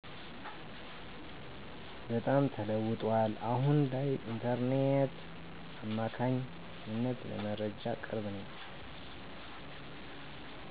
በጣም ተለውጧል አሁን ላይ በኢንተርኔት አማካኝነት ለመረጃ ቅርብ ነኝ።